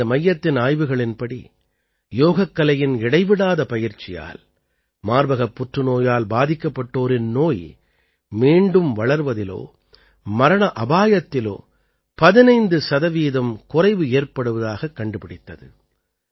இந்த மையத்தின் ஆய்வுகளின்படி யோகக்கலையின் இடைவிடாத பயிற்சியால் மார்ப்பகப் புற்றுநோயால் பாதிக்கப்பட்டோரின் நோய் மீண்டும் வளர்வதிலோ மரண அபாயத்திலோ 15 சதவீதம் குறைவு ஏற்படுவதாகக் கண்டுபிடித்தது